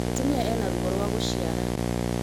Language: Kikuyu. mūtumia ena ruo rwa gūciara